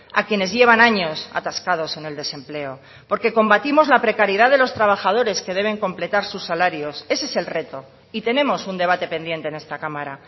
a quienes llevan años atascados en el desempleo porque combatimos la precariedad de los trabajadores que deben completar sus salarios ese es el reto y tenemos un debate pendiente en esta cámara